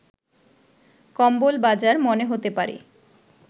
কম্বল বাজার মনে হতে পারে